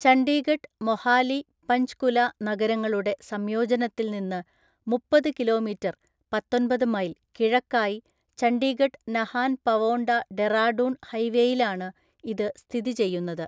ചണ്ഡീഗഢ് മൊഹാലി പഞ്ച്കുല നഗരങ്ങളുടെ സംയോജനത്തിൽ നിന്ന് മുപ്പത് കിലോമീറ്റർ (പത്തൊന്‍പത് മൈൽ) കിഴക്കായി ചണ്ഡീഗഢ് നഹാൻ പവോണ്ട ഡെറാഡൂൺ ഹൈവേയിലാണ് ഇത് സ്ഥിതിചെയ്യുന്നത്.